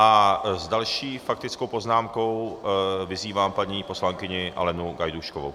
A s další faktickou poznámkou vyzývám paní poslankyni Alenu Gajdůškovou.